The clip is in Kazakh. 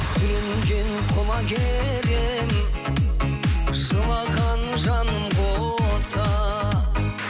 сүрінген құлагер едім жылаған жаным қоса